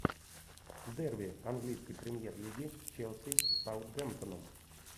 дерби английской премьер лиги челси с саутгемптоном